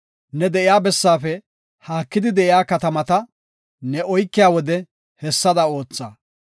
Ne de7iya bessaafe haakidi de7iya katamata ne oykiya wode hessada ootha.